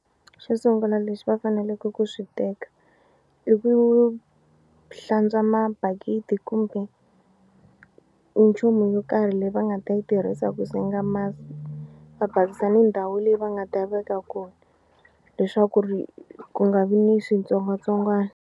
Xo sungula lexi va faneleke ku swi teka i ku hlantswa mabakiti kumbe nchumu yo karhi leyi va nga ta yi tirhisa ku senga masi va basisa ni ndhawu leyi va nga ta veka kona leswaku ri ku nga vi ni switsongwatsongwana.